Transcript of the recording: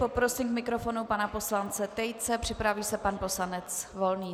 Poprosím k mikrofonu pana poslance Tejce, připraví se pan poslanec Volný.